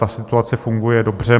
Ta situace funguje dobře.